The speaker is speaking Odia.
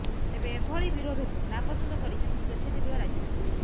ତେବେ ଏଭଳି ବିରୋଧକୁ ନାପସନ୍ଦ କରିଛନ୍ତି ସ୍ୱେଚ୍ଛାସେବୀ ଓ ରାଜନେତା